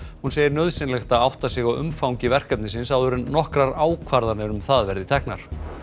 hún segir nauðsynlegt að átta sig á umfangi verkefnisins áður en nokkrar ákvarðanir um það verði teknar